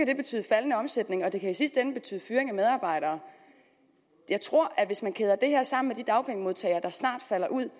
kan betyde faldende omsætning og det kan i sidste ende betyde fyring af medarbejdere jeg tror at hvis man kæder det her sammen med de dagpengemodtagere der falder ud